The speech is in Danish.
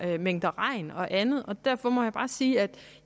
mængder regn og andet og derfor må jeg bare sige at